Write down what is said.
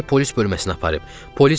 Səni polis bölməsinə aparıb.